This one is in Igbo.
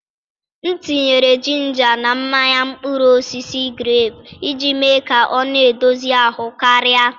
M tinyere jinja na mmanya mkpụrụ osisi grepu iji mee ka ọ na-edozi ahụ karịa.